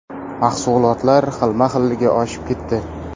Mahsulotlar xilma-xilligi oshib ketdi.